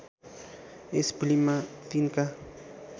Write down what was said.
यस फिल्ममा तिनका